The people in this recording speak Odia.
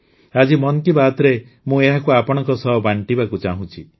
ଆଜି ମନ୍ କୀ ବାତ୍ରେ ମୁଁ ଏହାକୁ ଆପଣଙ୍କ ସହ ବାଂଟିବାକୁ ଚାହୁଁଛି